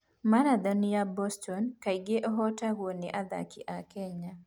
Marathon ya Boston kaingĩ ĩhootagwo nĩ athaki a Kenya.